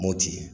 Mopti